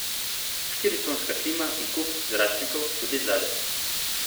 Štiriconska klima in kup zračnikov tudi zadaj?